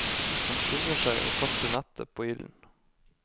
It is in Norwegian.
Han skynder seg å kaste nettet på ilden.